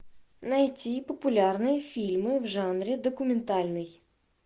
найти популярные фильмы в жанре документальный